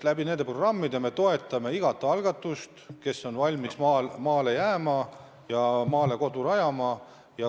Nende programmide abil me toetame inimesi, kes on valmis maale jääma või maale kodu rajama.